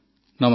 ନମସ୍କାର